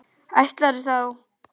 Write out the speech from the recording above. Ætlarðu þá.?